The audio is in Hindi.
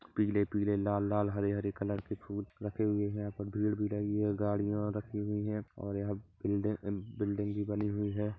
पीले पीले लाल लाल हरे हरे कलर के फूल रखे हुए है यहां पी भीड़ भिड़ाइया गाडिया रखी हुई है और यहां बिल्डिंग बिल्डिंग भी बनी हुई है।